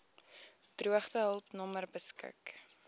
droogtehulp nommer beskik